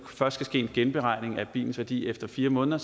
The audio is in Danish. først skal ske en genberegning af bilens værdi efter fire måneder